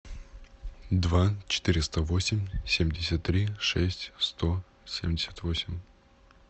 два четыреста восемь семьдесят три шесть сто семьдесят восемь